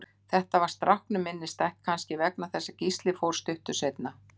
Þetta varð stráknum minnisstætt, kannski vegna þess að Gísli fórst stuttu seinna.